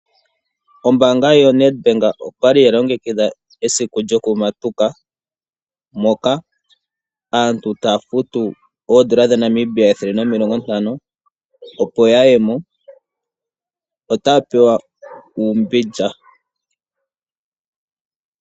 Ombaanga yaNedbank oyali yalongekidha esiku lyokumatuka moka aantu taya futu oodola dhaNamibia ethele nomilongo ntano opo ya kuthe ombinga. Otaya pewa uumbindja.